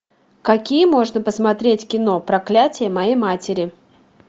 какие можно посмотреть кино проклятие моей матери